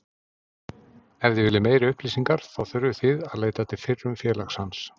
Ef þið viljið meiri upplýsingar þá þurfið þið að leita til fyrrum félags hans.